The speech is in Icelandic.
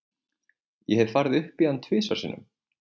Ég hef farið upp í hann tvisvar sinnum.